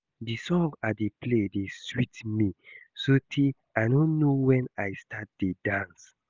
The song I dey play dey sweet me so tey I no know wen I start to dey dance